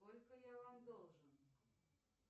сколько я вам должен